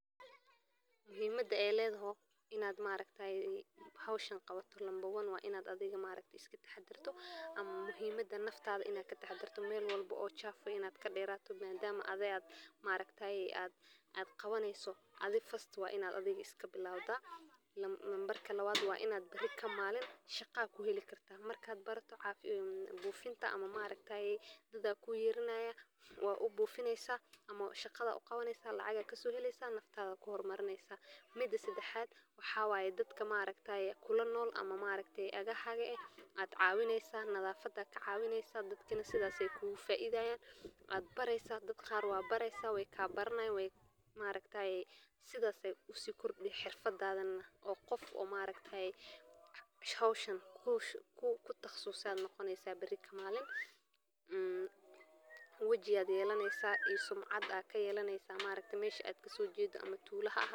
Muhimada ay ledhaho inad maaragtaye howshan qabata number one wa inad adhiga maaragta iskatahadirta ama muhimada naftadha inad kataxadirta mel walbo oo [cschafu inad kadeerato madama adhi maaragtaye ad qabaneyso adhi first wa ina adhiga iskabilawda. Nambarka lawad wa inad biri kamalin shaqa ad kuheli karta markad barato caafimaad bufinta ama maaragtaye dadba kuyeranaya wa u bufineysa ama shaqadha u qabaneyso lacag ad kasoheleysa naftadha ad kuhormaneysa. Mida sadaxad waxawaye dadka maaragtaye kulanool ama maaragtay agahaga eh ad cawineysa nadhafada ad kacawineysa dadkana sidhas ay kugafaidhayan ad bareysa dad qaar wad bareysa way kabaranayan maaragtaye sidhas ay usi kordi xirfad oo qof maaragtaye howshan kuwa kutaqasusa ad noqoneysa biri kamalin waji ayad yelaneysa iya sumcad ad kayelaneysa maaragti meshi ad kasojeda ama tuula ahaato.